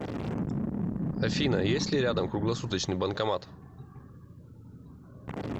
афина есть ли рядом круглосуточный банкомат